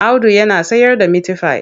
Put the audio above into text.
Audu yana sayarda mitifai.